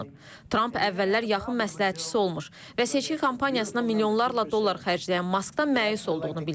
Tramp əvvəllər yaxın məsləhətçisi olmuş və seçki kampaniyasına milyonlarla dollar xərcləyən Maskdan məyus olduğunu bildirib.